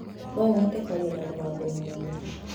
No ũhote kwaria na mũgambo mũnene?